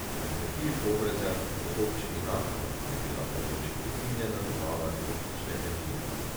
Na kmetiji v Podbrezjah v občini Naklo je bila ponoči prekinjena dobava električne energije.